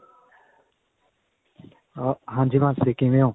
ਅਅ ਹਾਂਜੀ ਤੁੱਸੀ ਕਿਵੇਂ ਹੋ?